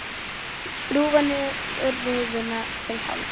Skrúfar niður rúðuna til hálfs.